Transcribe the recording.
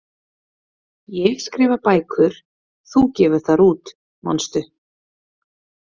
Ég skrifa bækur, þú gefur þær út, manstu?